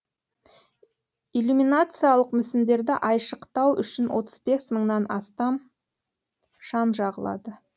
иллюминациялық мүсіндерді айшықтау үшін отыз бес мыңнан астам шам жағылады